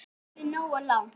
Nær það ekki nógu langt?